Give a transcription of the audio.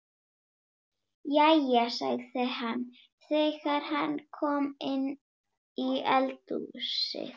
Jæja, sagði hann þegar hann kom inn í eldhúsið.